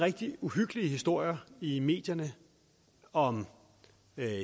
rigtig uhyggelige historier i medierne om